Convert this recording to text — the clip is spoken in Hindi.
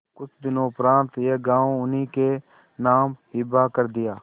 कुछ दिनों उपरांत यह गॉँव उन्हीं के नाम हिब्बा कर दिया